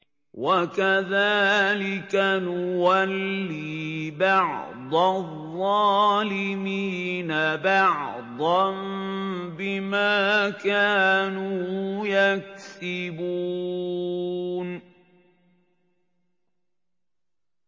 وَكَذَٰلِكَ نُوَلِّي بَعْضَ الظَّالِمِينَ بَعْضًا بِمَا كَانُوا يَكْسِبُونَ